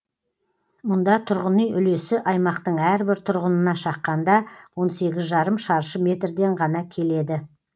мұнда тұрғын үй үлесі аймақтың әрбір тұрғынына шаққанда он сегіз жарым шаршы метрден ғана келеді